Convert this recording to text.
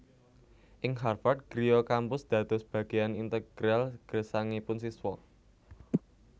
Ing Harvard griya kampus dados bageyan integral gesangipun siswa